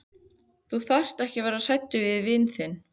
Þú þarft ekki að vera hræddur við vin þinn.